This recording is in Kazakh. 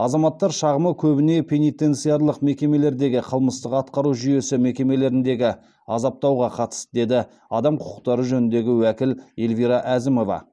азаматтар шағымы көбіне пенитенциарлық мекемелердегі қылмыстық атқару жүйесі мекемелеріндегі азаптауға қатысты деді адам құқықтары жөніндегі уәкіл эльвира әзімова